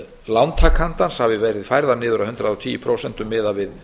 lántakandans hafi verið færðar niður að hundrað og tíu prósent miðað við